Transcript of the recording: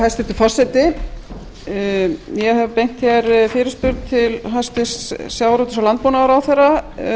hæstvirtur forseti ég hef beint fyrirspurn til hæstvirts sjávarútvegs og landbúnaðarráðherra